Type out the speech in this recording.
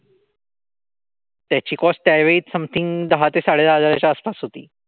त्याची कोस्ट त्यावेळी समथिंग दहा ते साडेदहा हजार च्या आसपास होती.